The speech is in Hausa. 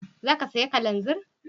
Za ka saya kananzir?